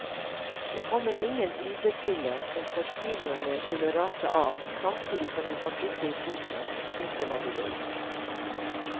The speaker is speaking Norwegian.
Det kommer ingen superpille som får kiloene til å rase av samtidig som du kan sitte i sofaen og spise hva du vil.